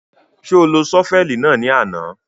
Ṣo lo ṣọ́fẹ̀lì náà ní àná?